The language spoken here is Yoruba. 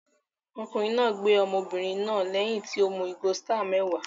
Ọkùnrin náà gbé ọmọbìnrin náà lẹ́yìn tí ó mu ìgò Star mẹ́wàá